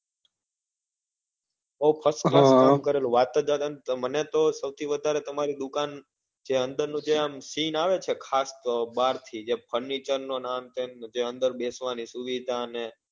હા કરેલું વાત જ જવા ડો ને મને તો સૌથી વધારે તમરી દુકાન જે અંદર નું જે આમ seen આવે છે ખાસ તો બાર થી જે furniture ને આ ને તે જે અંદર બેસવા ની સુવિધા ને